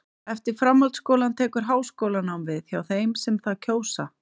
Eftir framhaldsskólann tekur háskólanám við hjá þeim sem það kjósa.